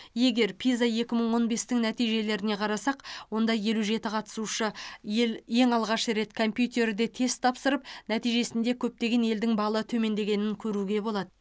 егер пиза екі мың он бестің нәтижелеріне қарасақ онда елу жеті қатысушы ел алғаш рет компьютерде тест тапсырып нәтижесінде көптеген елдің балы төмендегенін көруге болады